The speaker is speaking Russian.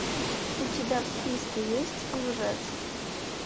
у тебя в списке есть лжец